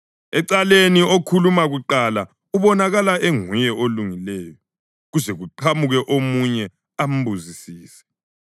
Ecaleni okhuluma kuqala ubonakala enguye olungileyo, kuze kuqhamuke omunye ambuzisise.